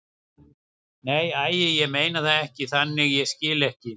Nei, æi, ég meinti það ekki þannig, ég skil ekki.